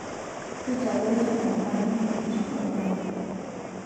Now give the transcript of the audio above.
Keitadoyio enyamali enkiroshi orpaek.